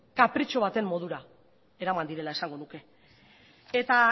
kapritxo baten modura eraman direla esango nuke eta